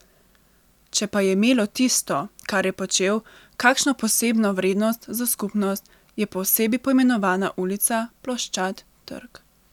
Če pa je imelo tisto, kar je počel, kakšno posebno vrednost za skupnost, je po osebi poimenovana ulica, ploščad, trg.